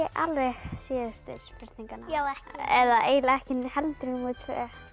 alveg síðustu spurninguna eða eiginlega ekki heldur númer tvö